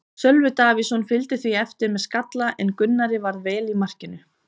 Sölvi Davíðsson fylgdi því eftir með skalla en Gunnar varði vel í markinu.